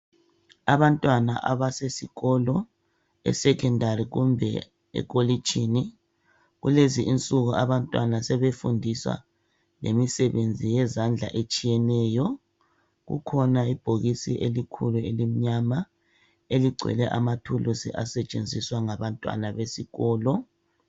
Abantwana abasesikolo esekhondari kumbe ekolitshini kulezi insuku abantwana sebefundiswa lemisebenzi yezandla etshiyeneyo, kukhona ibhokisi elikhulu elimnyama eligcwele amathulusi asetshenziswa ngabantwana besikolo